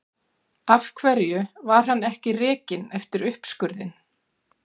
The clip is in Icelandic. Af hverju var hann ekki rekinn eftir uppskurðinn?